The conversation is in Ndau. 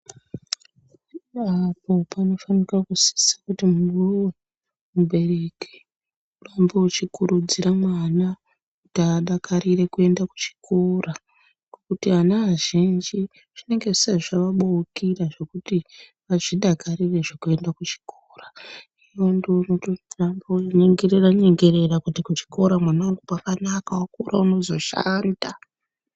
Pamwe pacho panofanika kusisa kuti iwewe mubereki irambe uchikurudzira mwana kuti adakarire kuenda kuchikora ngekuti ana azhinji zvinenge azvisati zvaabokera zvekuti vazvidakarire zvekuenda kuchikora iwewe ndiwe unototamga kunyengerera nyengerera kuti kuchikora mwanawangu pakanaka wakura mwanangu unozoshanda.